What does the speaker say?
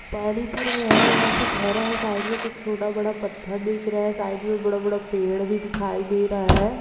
पानी पूरा यहाँ वहां से भरा हैं साइड में कुछ छोटा बड़ा पत्थर दिख रहा है साइड में बड़ा बड़ा पेड़ भी दिखाई दे रहा है।